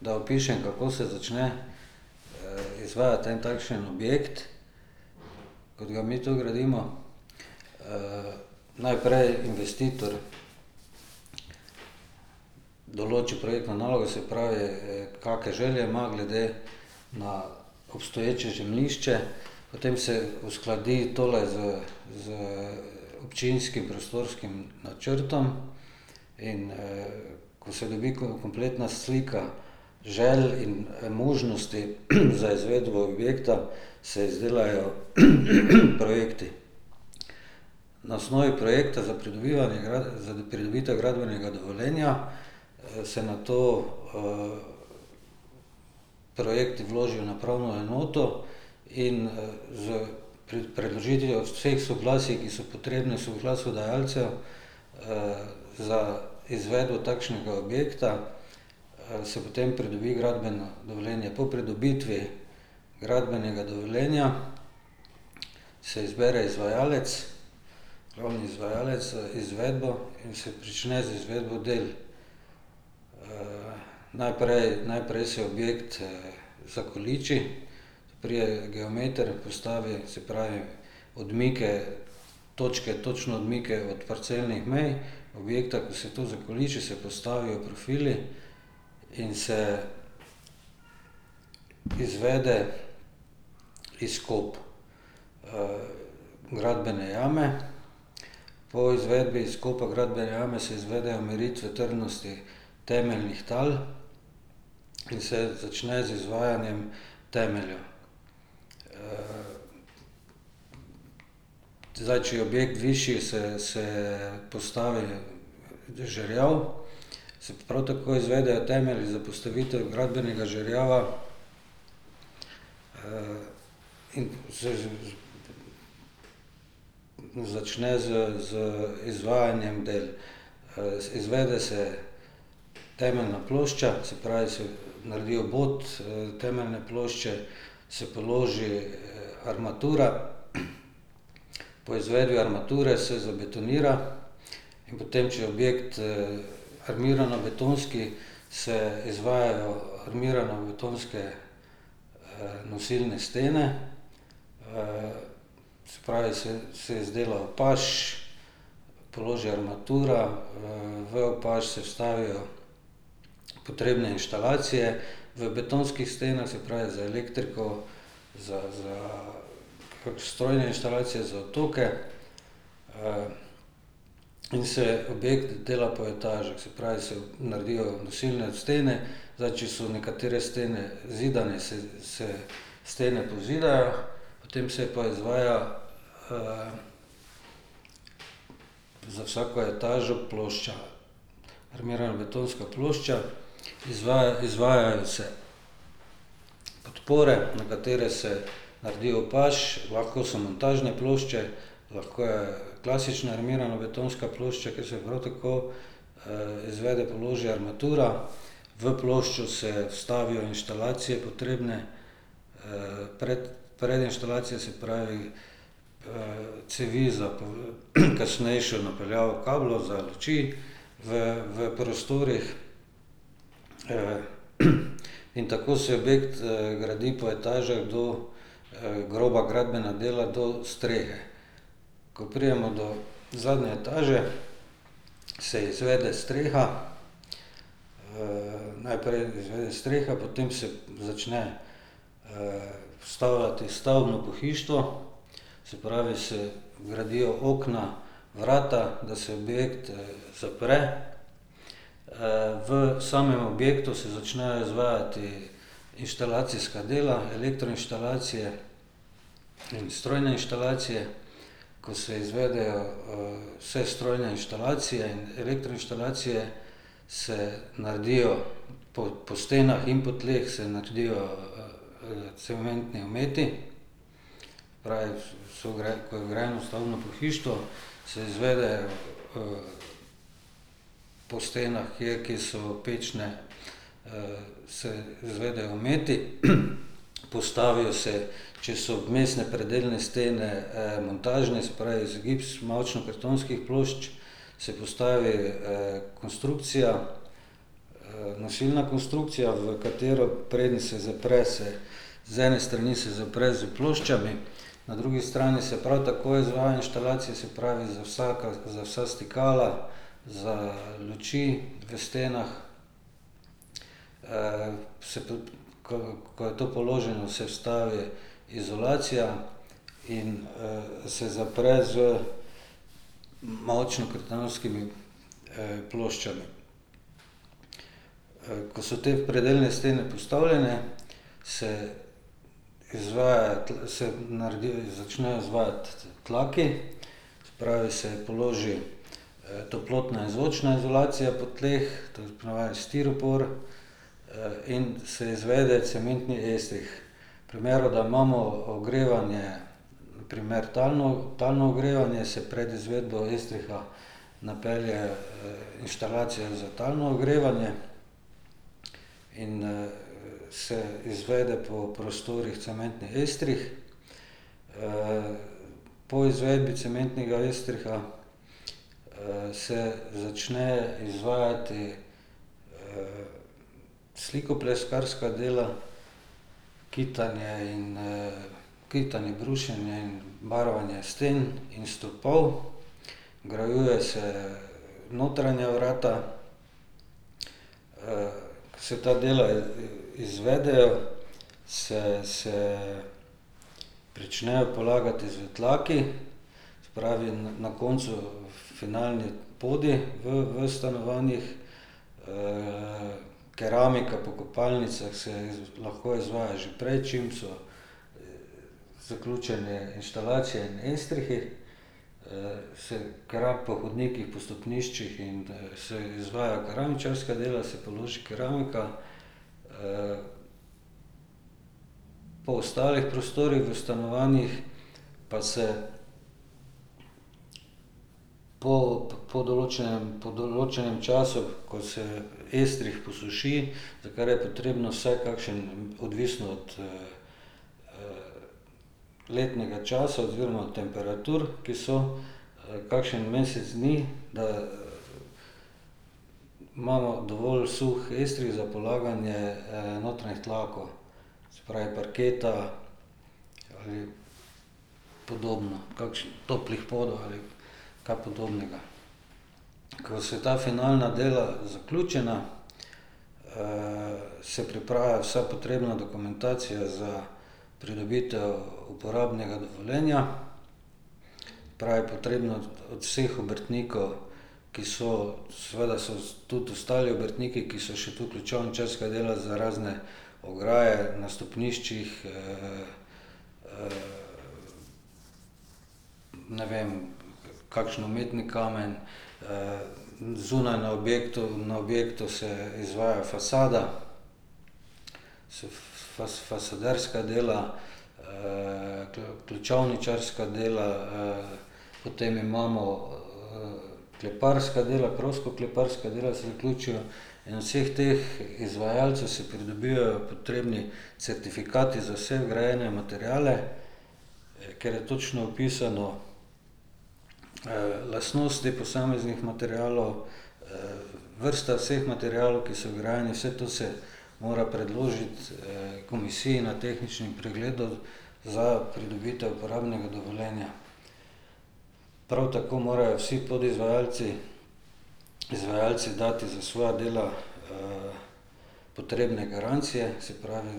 Da opišem, kako se začne izvajati en takšen objekt, kot ga mi tu gradimo. Najprej investitor določi projektno nalogo, se pravi kakšne želje ima glede na obstoječe zemljišče, potem se uskladi tole z, z občinskim prostorskim načrtom, in ko se dobi kompletna slika želj in možnosti za izvedbo objekta, se izdelajo projekti. Na osnovi projekta za pridobivanje za pridobitev gradbenega dovoljenja se nato projekt vloži na upravno enoto in s predložitvijo vseh soglasij, ki so potrebna za izvedbo takšnega objekta, se potem pridobi gradbeno dovoljenje. Po pridobitvi gradbenega dovoljenja se izbere izvajalec, glavni izvajalec za izvedbo in se prične z izvedbo del. Najprej, najprej se objekt zakoliči, pride geometer, postavi, se pravi odmike, točke, točno odmike od parcelnih mej objekta, ko se to zakoliči, se postavijo profili, in se izvede izkop gradbene jame. Po izvedbi izkopa gradbene jame se izvedejo meritve trdnosti temeljnih tal in se začne z izvajanjem temeljev. Zdaj, če je objekt višji, se postavi žerjav, se prav tako izvedejo temelji za postavitev gradbenega žerjava. In ... Začne z, z izvajanjem del. Izvede se temeljna plošča, se pravi, se naredi obod temeljne plošče, se položi armatura. Po izvedbi armature se zabetonira, in potem če je objekt armiranobetonski, se izvajajo armiranobetonske nosilne stene. Se pravi, se se je zdelo paž, položi armatura, v paž se vstavijo potrebne inštalacije. V betonskih stenah, se pravi, za elektriko, za za pač strojne inštalacije za otoke in se obe dela po etažah, se pravi, se naredijo nosilne stene, zdaj če so nekatere stene zidane, se se stene pozidajo, potem se pa izvaja ... za vsako etažo plošča. Armirana betonska plošča, izvaja, izvajajo se podpore, na katere se naredi paž, lahko so montažne plošče, lahko je klasična armirana betonska plošča, kjer se prav tako izvede, položi armatura. V ploščo se vstavijo inštalacije potrebne pred, pred inštalacijo, se pravi cevi za kasnejšo napeljavo kablov, za luči v v prostorih. In tako se gradi po etažah do groba gradbena dela do strehe. Ko pridemo do zadnje etaže, se izvede streha. Najprej izvede streha, potem se začne vstavljati stavbno pohištvo. Se pravi, se gradijo okna, vrata, da se direkt zapre. V samem objektu se začnejo izvajati inštalacijska dela, elektroinštalacije in strojne inštalacije. Ko se izvedejo vse strojne inštalacije in elektroinštalacije, se naredijo po po stenah in po tleh, se naredijo cementni ometi. Raje ko je vgrajeno stavbno pohištvo, se izvede po stenah, kje, kjer so pečne se izvedejo imeti. Postavijo se, če so vmesne predelne stene, montažne, se pravi iz gips, mavčnokartonskih plošč, se postavi konstrukcija, nosilna konstrukcija, v katero, preden se zapre, se z ene strani se zapre z ploščami, na drugi strani se prav tako izvaja inštalacije, se pravi z vsaka, za vsa stikala, za luči v stenah. Se ko je to položeno, se vstavi izolacija in se zapre z mavčnokartonskimi ploščami. Ko so te predelne stene postavljene, se izvaja se naredi, začne izvajati tlaki. Se pravi, se položi toplotna in zvočna izolacija po tleh, to je po navadi stiropor, in se izvede cementni estrih. V primeru, da imamo ogrevanje, primer talno, talno ogrevanje, se pred izvedbo estriha napelje inštalacija za talno ogrevanje in se izvede po prostorih cementni estrih. Po izvedbi cementnega estriha se začne izvajati slikopleskarska dela, kitanje in kitanje, brušenje in barvanje sten in stopov. Vgrajuje se notranja vrata, ko se ta dela izvedejo, se se pričnejo polagati že tlaki. Se pravi, na koncu finalni podi v v stanovanjih, keramika po kopalnicah se lahko izvaja že prej, čim so zaključene inštalacije in estrihi. Se po hodnikih, po stopniščih in se izvaja keramičarska dela, se položi keramika. Po ostalih prostorih v stanovanjih pa se ... po po določenem, po določenem času, ko se estrih posuši, takrat je potrebno vsaj kakšen, odvisno od letnega časa oziroma temperatur, ki so, kakšen mesec dni, da imamo dovolj suh estrih za polaganje notranjih tlakov. Se pravi, parketa ali podobno, toplih podov ali kaj podobnega. Ko so ta finalna dela zaključena, se pripravi vsa potrebna dokumentacija za pridobitev uporabnega dovoljenja. Se pravi, potrebno od vseh obrtnikov, ki so, seveda so tudi ostali obrtniki, ko so še tu, ključavničarska dela za razne ograje na stopniščih ne vem, kakšen umetni kamen, zunaj na objektu, na objektu se izvaja fasada, se fasaderska dela, ključavničarska dela potem imamo kleparska dela, prostokleparska dela se vključijo, in od vseh teh izvajalcev se pridobivajo potrebni certifikati za vse vgrajene materiale, ker je točno vpisano lastnosti teh posameznih materialov, vrsta vseh materialov, ki so vgrajeni, vse to se mora predložiti komisiji na tehničnem pregledu za pridobitev uporabnega dovoljenja. Prav tako morajo vsi podizvajalci, izvajalci dati za svoja dela potrebne garancije, se pravi